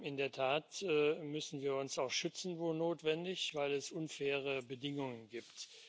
In der Tat müssen wir uns auch schützen, wo notwendig, weil es unfaire Bedingungen gibt.